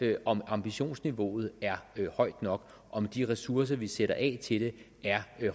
er om ambitionsniveauet er højt nok om de ressourcer vi sætter af til det er